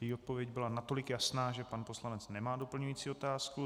Její odpověď byla natolik jasná, že pan poslanec nemá doplňující otázku.